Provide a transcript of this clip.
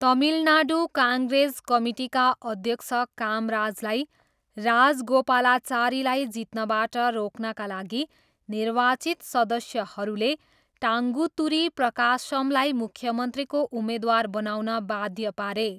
तमिलनाडु काङ्ग्रेस कमिटीका अध्यक्ष कामराजलाई राजगोपालाचारीलाई जित्नबाट रोक्नका लागि निर्वाचित सदस्यहरूले टाङ्गुतुरी प्रकाशमलाई मुख्यमन्त्रीको उम्मेद्वार बनाउन बाध्य पारे।